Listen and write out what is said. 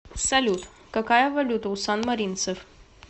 салют какая валюта у санмаринцев